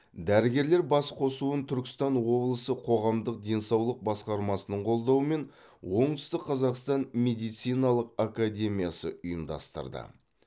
дәрігерлер басқосуын түркістан облысы қоғамдық денсаулық басқармасының қолдауымен оңтүстік қазақстан медициналық академиясы ұйымдастырды